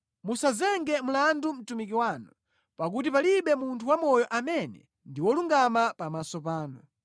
Musazenge mlandu mtumiki wanu, pakuti palibe munthu wamoyo amene ndi wolungama pamaso panu.